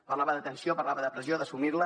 parlava d’atenció parlava de pressió d’assumir la